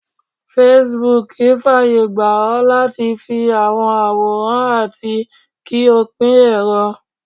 Facebook faye gba o lati fi awọn aworan ati ki o pin ero.